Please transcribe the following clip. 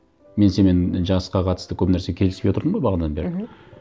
мен сенімен жасқа қатысты көп нәрсе келіспей отырдым ғой бағанадан бері мхм